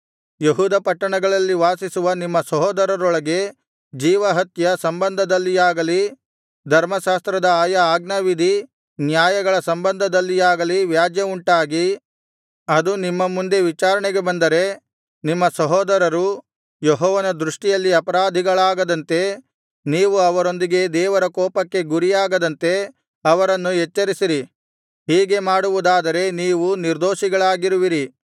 ಯೆಹೂದ ಪಟ್ಟಣಗಳಲ್ಲಿ ವಾಸಿಸುವ ನಿಮ್ಮ ಸಹೋದರರೊಳಗೆ ಜೀವಹತ್ಯ ಸಂಬಂಧದಲ್ಲಿಯಾಗಲಿ ಧರ್ಮಶಾಸ್ತ್ರದ ಆಯಾ ಆಜ್ಞಾವಿಧಿ ನ್ಯಾಯಗಳ ಸಂಬಂಧದಲ್ಲಿಯಾಗಲಿ ವ್ಯಾಜ್ಯವುಂಟಾಗಿ ಅದು ನಿಮ್ಮ ಮುಂದೆ ವಿಚಾರಣೆಗೆ ಬಂದರೆ ನಿಮ್ಮ ಸಹೋದರರು ಯೆಹೋವನ ದೃಷ್ಟಿಯಲ್ಲಿ ಅಪರಾಧಿಗಳಾಗದಂತೆ ನೀವು ಅವರೊಂದಿಗೆ ದೇವರ ಕೋಪಕ್ಕೆ ಗುರಿಯಾಗದಂತೆ ಅವರನ್ನು ಎಚ್ಚರಿಸಿರಿ ಹೀಗೆ ಮಾಡುವುದಾದರೆ ನೀವು ನಿರ್ದೋಷಿಗಳಾಗಿರುವಿರಿ